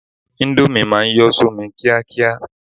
Índómì ma ń yọ́ sómi kíákíá